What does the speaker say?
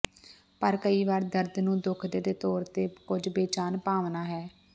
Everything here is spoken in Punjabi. ਪਰ ਕਈ ਵਾਰ ਦਰਦ ਨੂੰ ਦੁਖਦੇ ਦੇ ਤੌਰ ਤੇ ਕੁਝ ਬੇਚੈਨ ਭਾਵਨਾ ਹੈ